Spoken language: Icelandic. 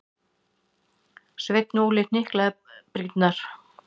Sveinn Óli hnyklaði brýnnar.